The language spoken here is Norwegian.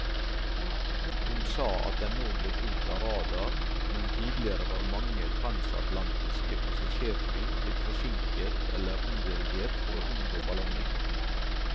Hun sa at den nå ble fulgt av radar, men tidligere var mange transatlantiske passasjerfly blitt forsinket eller omdirigert for å unngå ballongen.